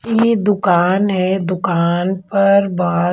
ये दुकान है दुकान पर बाहर--